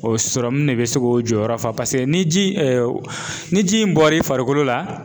O sɔrɔmu de bɛ se k'o jɔyɔrɔ fa paseke ni ji ni ji in bɔr'i farikolo la.